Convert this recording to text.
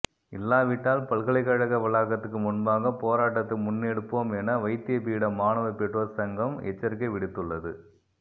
இல்லாவிட்டால் பல்கலைகழக வளாகத்துக்கு முன்பாக போராட்டத்தை முன்னெடுப்போம் என வைத்தியபீட மாணவ பெற்றோர் சங்கம் எச்சரிக்கை விடுத்துள்ளது